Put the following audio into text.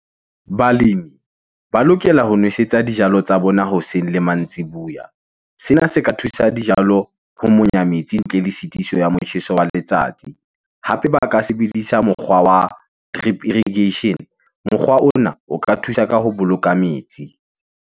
Balemi ba lokela ho nwesetsa dijalo tsa bona hoseng le mantsibuya. Sena se ka thusa dijalo ho monya metsi ntle le sitiso ya motjheso wa letsatsi. Hape ba ka sebedisa mokgwa wa drip irrigation. Mokgwa ona o ka thusa ka ho boloka metsi.